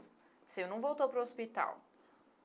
O senhor não voltou para o hospital?